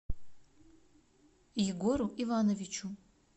егору ивановичу